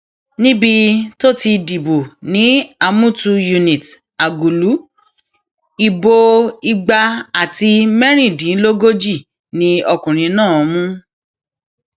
níbi tó ti dìbò ni àmùtù unit àgùlù ìbò igba àti mẹrìndínlógójì ni ọkùnrin náà mú